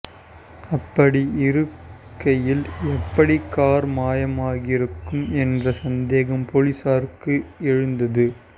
அப்படி இருக்கையில் எப்படி கார் மாயமாகியிருக்கும் என்ற சந்தேகம் போலீசாருக்கு எழுந்தது